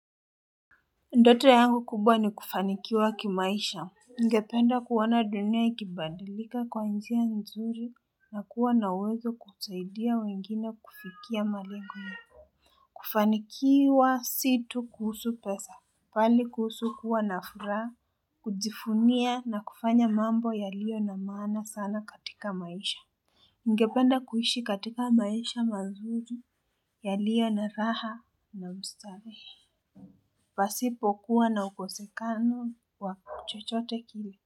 Ndoto yangu kubwa ni kufanikiwa kimaisha. Ningependa kuona dunia ikibadilika kwa njia nzuri na kuwa na uwezo kusaidia wengine kufikia malengo kufanikiwa si tu kuhusu pesa, bali kuhusu kuwa na furaha, kujivunia na kufanya mambo yaliyo na maana sana katika maisha ningependa kuishi katika maisha mazuri yaliyo na raha na ustawi. Pasipokuwa na ukosekano wa chochote kile.